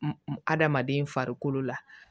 Adamaden farikolo la